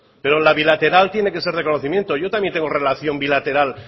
pero la bilateral tiene que ser reconocimiento yo también tengo relación bilateral